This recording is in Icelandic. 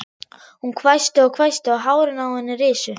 Hún hvæsti og hvæsti og hárin á henni risu.